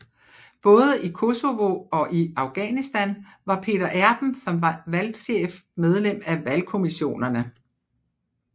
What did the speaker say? Både i Kosovo og i Afghanistan var Peter Erben som valgchef medlem af valgkommissionerne